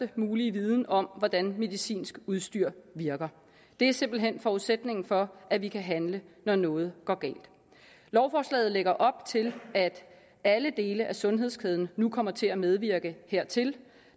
mulige viden om hvordan medicinsk udstyr virker det er simpelt hen forudsætningen for at vi kan handle når noget går galt lovforslaget lægger op til at alle dele af sundhedskæden nu kommer til at medvirke hertil